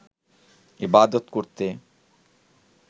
ইবাদত করতে